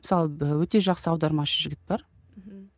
мысалы өте жақсы аудармашы жігіт бар мхм